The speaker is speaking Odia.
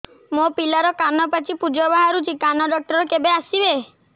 ମୋ ପିଲାର କାନ ପାଚି ପୂଜ ବାହାରୁଚି କାନ ଡକ୍ଟର କେବେ ଆସିବେ